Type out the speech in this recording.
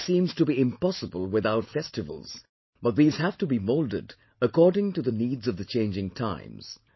Life seems to be impossible without festivals but these have to be moulded according to the needs of the changing times